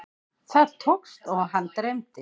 Það tókst og hann dreymdi.